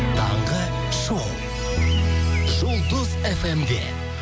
таңғы шоу жұлдыз фм де